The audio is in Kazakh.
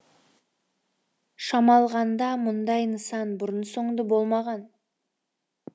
шамалғанда мұндай нысан бұрын соңды болмаған